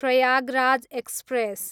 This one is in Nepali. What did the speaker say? प्रयागराज एक्सप्रेस